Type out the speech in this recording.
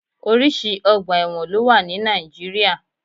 Orísìí ọgbà ẹ̀wọ̀n ló wà ní Nàìjíríà